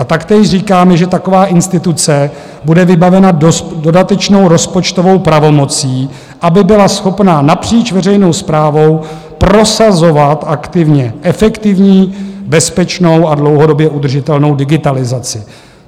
A taktéž říkáme, že taková instituce bude vybavena dodatečnou rozpočtovou pravomocí, aby byla schopna napříč veřejnou správou prosazovat aktivně efektivní, bezpečnou a dlouhodobě udržitelnou digitalizaci.